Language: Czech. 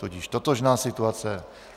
Tudíž totožná situace.